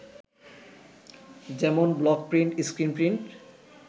যেমন, block print, screen print